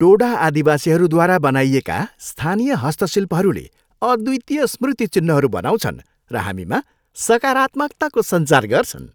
टोडा आदिवासीहरूद्वारा बनाइएका स्थानीय हस्तशिल्पहरूले अद्वितीय स्मृति चिन्हहरू बनाउँछन् र हामीमा सकारात्मकताको सञ्चार गर्छन्।